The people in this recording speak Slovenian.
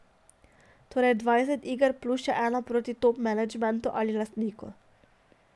Torej dvajset iger, plus še eno proti top menedžmentu ali lastniku.